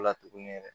O la tugunɛ yɛrɛ